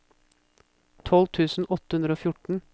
tolv tusen åtte hundre og fjorten